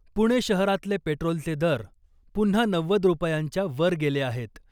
पुणे शहरातले पेट्रोलचे दर पुन्हा नव्वद रुपयांच्या वर गेले आहेत .